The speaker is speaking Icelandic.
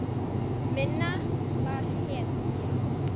Minna var hetja.